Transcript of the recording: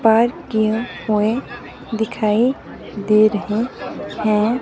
पार किए हुए दिखाई दे रहे हैं।